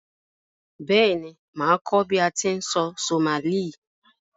Béèni, màá kó bi a ti n sọ Somali